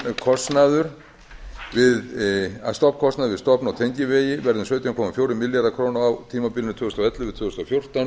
stofnkostnaður við stofn og tengivegi verði um sautján komma fjórir milljarðar króna á tímabilinu tvö þúsund og ellefu til tvö þúsund og fjórtán um